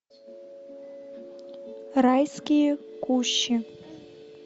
райские кущи